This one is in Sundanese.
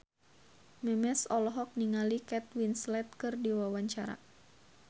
Memes olohok ningali Kate Winslet keur diwawancara